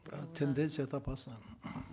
да тенденция эта опасная